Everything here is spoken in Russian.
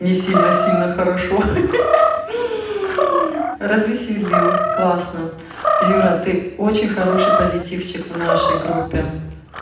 не сильно сильно хорошо ха ха развеселил классно юра ты очень хороший позитивчик в нашей группе